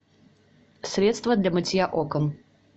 средство для мытья окон